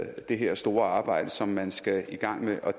det her store arbejde som man skal i gang med